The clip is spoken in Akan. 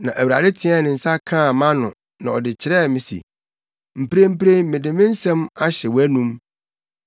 Na Awurade teɛɛ ne nsa de kaa mʼano na ɔka kyerɛɛ me se, “Mprempren mede me nsɛm ahyɛ wʼanom.